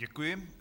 Děkuji.